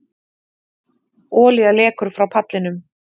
Olía lekur frá pallinum